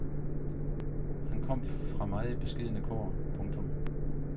Han kom fra meget beskedne kår. punktum